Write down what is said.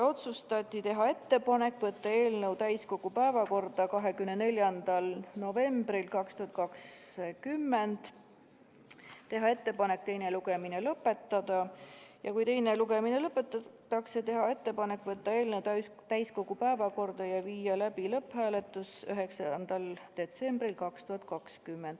Otsustati teha ettepanek võtta eelnõu täiskogu päevakorda 24. novembriks 2020, teha ettepanek teine lugemine lõpetada ja kui teine lugemine lõpetatakse, teha ettepanek võtta eelnõu täiskogu päevakorda ja viia läbi lõpphääletus 9. detsembril 2002.